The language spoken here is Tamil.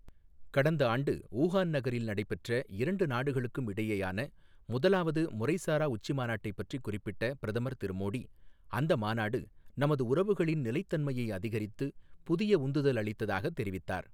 கடந்த ஆண்டு ஊஹான் நகரில் நடைபெற்ற இரண்டு நாடுகளுக்கும் இடையேயான முதலாவது முறைசாரா உச்சிமாநாட்டைப் பற்றிக் குறிப்பிட்ட பிரதமர் திரு மோடி, அந்த மாநாடு, நமது உறவுகளின் நிலைத்தன்மையை அதிகரித்து, புதிய உந்துதல் அளித்ததாக தெரிவித்தார்.